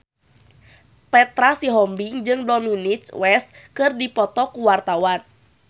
Petra Sihombing jeung Dominic West keur dipoto ku wartawan